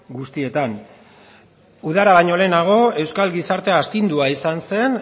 guztietan udara baino lehenago euskal gizartea astindua izan zen